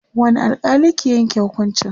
wani alkali ke Yanke hukuncin?